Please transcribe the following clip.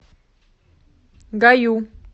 гаю